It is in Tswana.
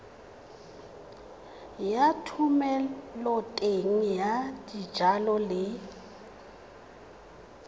ya thomeloteng ya dijalo le